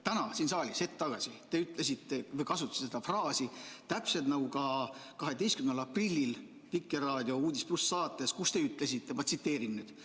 Täna siin saalis hetk tagasi te kasutasite seda fraasi, täpselt nagu ka 12. aprillil Vikerraadio saates "Uudis+", kus te ütlesite, ma tsiteerin nüüd: "...